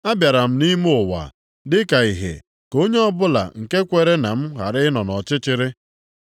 Abịara m nʼime ụwa dị ka ìhè ka onye ọbụla nke kwere na m ghara ịnọ nʼọchịchịrị.